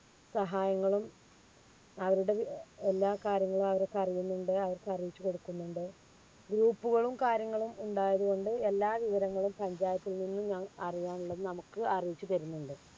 സഹായങ്ങളും അവരുടെ എ~എല്ലാ കാര്യങ്ങളും അവര്ക്ക് അറിയുന്നുണ്ട്. അവർക്ക് അറിയിച്ചുകൊടുക്കുന്നുണ്ട്. group കളും കാര്യങ്ങളും ഉണ്ടായതുകൊണ്ട് എല്ലാ വിവരങ്ങളും പഞ്ചായത്തിൽനിന്ന് അറിയാനുള്ളത് നമുക്ക് അറിയിച്ചു തരുന്നുണ്ട്.